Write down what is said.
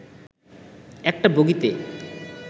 একটা বগিতে